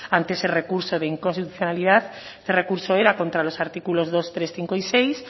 ante ese recurso de inconstitucionalidad este recurso era contra los artículos dos tres cinco y seis